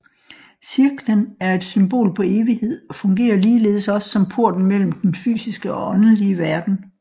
Cirklen er et symbol på evighed og fungerer ligeledes også som porten mellem den fysiske og åndelig verden